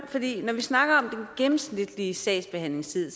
vi snakker om gennemsnitlige sagsbehandlingstid